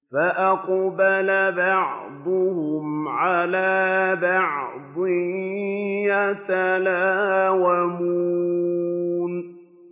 فَأَقْبَلَ بَعْضُهُمْ عَلَىٰ بَعْضٍ يَتَلَاوَمُونَ